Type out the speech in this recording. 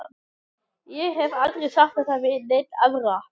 Ég hef aldrei sagt þetta við neina aðra.